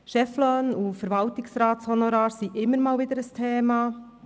Cheflöhne und Verwaltungsratshonorare sind immer wieder ein Thema.